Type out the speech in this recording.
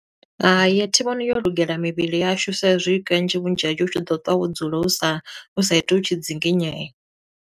Hai, a thi vhoni yo lugela mivhili yashu sa i zwi kanzhi vhunzhi hashu u tshi ḓo ṱwa wo dzula u sa u sa iti u tshi dzinginyea.